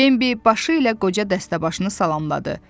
Bambi başı ilə qoca dəstəbaşını salamladı.